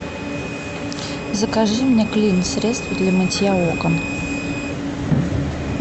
закажи мне клин средство для мытья окон